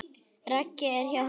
Raggi er hjá honum.